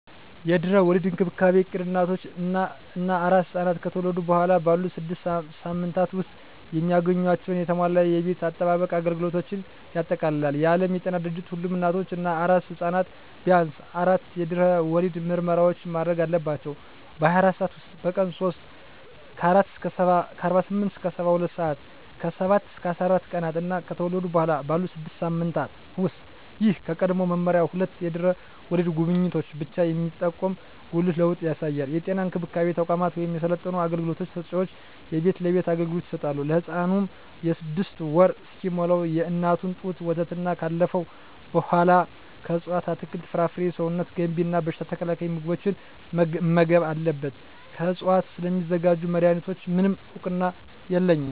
የድህረ ወሊድ እንክብካቤ እቅድ እናቶች እና አራስ ሕፃናት ከተወለዱ በኋላ ባሉት ስድስት ሳምንታት ውስጥ የሚያገኟቸውን የተሟላ የጤና አጠባበቅ አገልግሎቶችን ያጠቃልላል። የዓለም ጤና ድርጅት ሁሉም እናቶች እና አራስ ሕፃናት ቢያንስ አራት የድህረ ወሊድ ምርመራዎችን ማድረግ አለባቸው - በ24 ሰዓት ውስጥ፣ በቀን 3 (48-72 ሰአታት)፣ ከ7-14 ቀናት እና ከተወለዱ በኋላ ባሉት 6 ሳምንታት ውስጥ። ይህ ከቀድሞው መመሪያ ሁለት የድህረ ወሊድ ጉብኝቶችን ብቻ የሚጠቁም ጉልህ ለውጥ ያሳያል። የጤና እንክብካቤ ተቋማት ወይም የሰለጠኑ አገልግሎት ሰጭዎች የቤት ለቤት አገልግሎት ይሰጣሉ። ለህፃኑም 6ወር እስኪሞላው የእናት ጡት ወተትና ካለፈው በኃላ ከእፅዋት አትክልት፣ ፍራፍሬ ሰውነት ገንቢ እና በሽታ ተከላካይ ምግቦችን መመገብ አለብን። ከዕፅዋት ስለሚዘጋጁ መድኃኒቶች፣ ምንም እውቅና የለኝም።